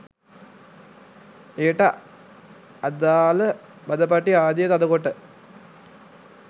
එයට අදාළ බඳපටි ආදිය තද කොට